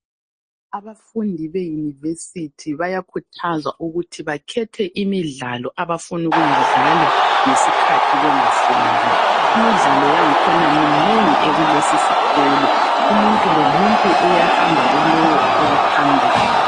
Abafundi be university bayakhuthazwa ukuthi bakhethe imidlalo abafuna ukuyidlala ngesikhathi bengafundi, imidlalo yakhona minengi ekulesi sikolo , umuntu lomuntu uyahamba kulowo awuthandayo